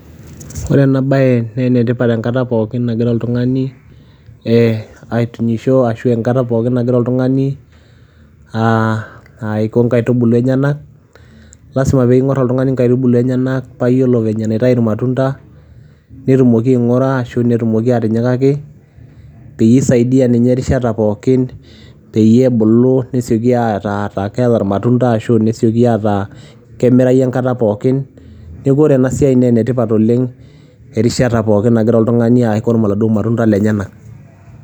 Ore ena baye nee ene tipat enkata pookin nagira oltung'ani ee aitunyisho ashu enkata pookin nagira oltung'ani aa aiko inkaitubulu enyenak. lazima peyie iing'or oltung'ani nkaitubulu enyenak paa iyiolo venye naitayu irmatunda netumoki aing'ura ashu netumoki atinyikaki peyie isaidia ninye erishata pookin peyie ebulu nesioki ataa keeta irmatunda ashu nesioki ataa kemirayu enkata pookin. Neeku ore ena siai nee ene tipat oleng' erishata pookin nagira oltung'ani aikom iladuo matunda lenyenak.